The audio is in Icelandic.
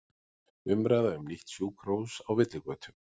Umræða um nýtt sjúkrahús á villigötum